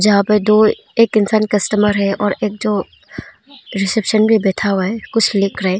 यहां पे दो एक इंसान कस्टमर है और एक जो रिसेप्शन पे बैठा हुआ है कुछ लिख रहा है।